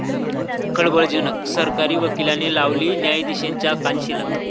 खळबळजनक... सरकारी वकिलाने लगावली न्यायाधीशांच्या कानशिलात